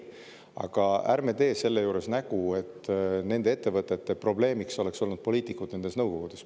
Aga ärme teeme selle juures nägu, et nende ettevõtete probleemiks on olnud poliitikud nendes nõukogudes.